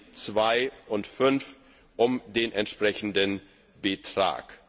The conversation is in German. Rubriken 2 und 5 um den entsprechenden Betrag.